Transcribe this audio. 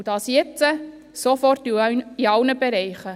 Dies jetzt, sofort und in allen Bereichen!